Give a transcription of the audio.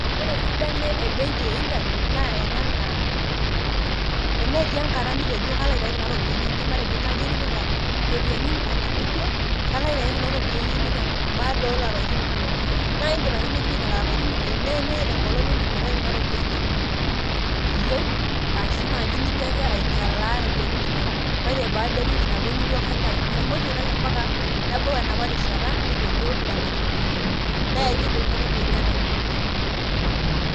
Ore esidano ebenki e internet naa tenetii enkata nitejo kalo aitayu kuna ropiyiani ainei ,matejo naji itipika iropiyiani internet nijo kalo aitayu kuna ropiyiani ainei baada oo oolapaitin ile naa indip ake nibik lelo apaitin ile nemetaa enkolong nindim aitayu kuna ropiyiani iyieu ashu nijo ake ainyalaa iropiyiani nijo ore baada ewiki nabo nijo kaitayu ,mitumoki aitayu ompaka nebau enapa rishata nitejo ilapaitin ile nee enkidim kuna ropiyiani aataret oleng .